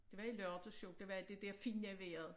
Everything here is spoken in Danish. Det var i lørdags jo det var det dér fine vejret